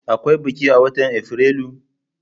Akwai biki a watan Afrilu?